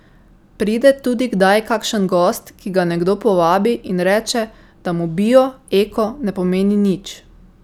Pride tudi kdaj kakšen gost, ki ga nekdo povabi, in reče, da mu bio, eko ne pomeni nič.